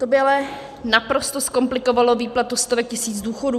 To by ale naprosto zkomplikovalo výplatu stovek tisíc důchodů.